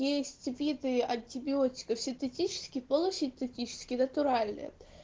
есть виды антибиотиков синтетические полусинтетические и натуральные